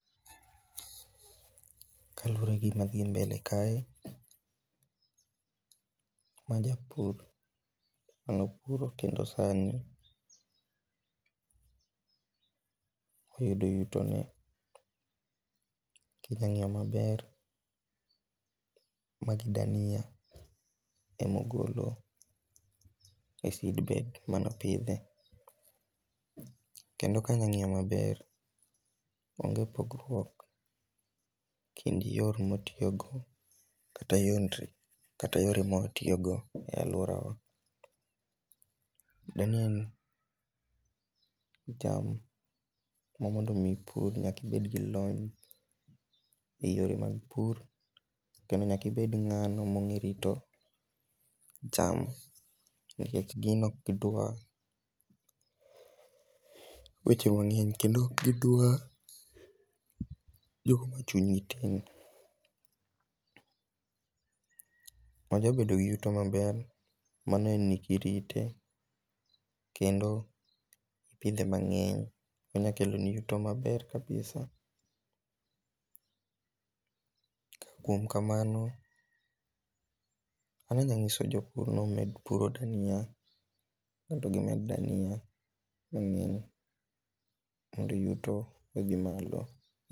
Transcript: Kaluwore gi gima dhi mbele kae, ma japur. Ng'ano puro kendo sani oyudo yuto ne. Kinyang'iyo maber, magi dania emogolo e seedbed manopidhe. Kendo kanyang'iyo maber, onge pogruok kind yor motiyo go kata yore mawatiyogo e aluora wa. Dania ni en cham ma mondo mi ipur nyaka ibed gi lony e yore mag pur kendo nyakibed ng'ano mong'erito cham. Nikech gino ok dwar weche mang'eny kendo ok gi dwa jok machuny gi tin. Wajabedo gi yuto maber mano en ni kirite kendo ipidhekipidhe mang'eny onyalo kelo ni yuto maber kabisa. Kuom kamano, an anya nyiso jopur ni omed puro dania mondo gimed dania mang'eny mondo yuto odhi malo.